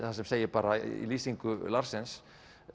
þar sem segir bara í lýsingu Larsens